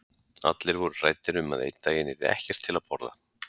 Allir voru hræddir um að einn daginn yrði ekkert til að borða.